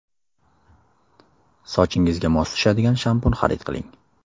Sochingizga mos tushadigan shampun xarid qiling.